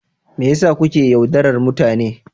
Me yasa kuke yaudarar mutane.